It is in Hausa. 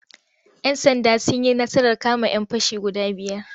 Yan'sanda sun yi nasarar kama'yan fashi guda biyar.